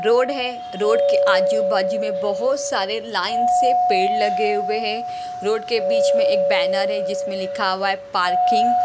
Road है road के आजू-बाजू में बहुत सारे लाइन से पेड़ लगे हुए हैं रोड के बीच में एक बैनर है जिसमें लिखा हुआ है पार्किंग ।